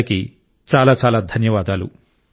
అందరికీ చాలా చాలా ధన్యవాదాలు